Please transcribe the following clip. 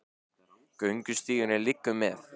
Göngustígurinn liggur með